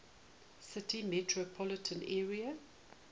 city metropolitan area